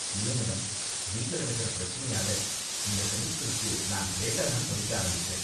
இல்ல மேடம், வீட்ல நடக்கற பிரச்சனையால இந்த செமஸ்டருக்கு நான் லேட்டா தான் படிக்க ஆரம்பிச்சேன்.